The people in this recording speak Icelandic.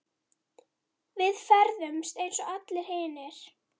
Við ferðumst eins og allir hinir.